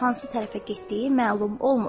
Hansı tərəfə getdiyi məlum olmur.